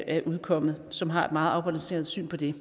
er udkommet og som har et meget afbalanceret syn på det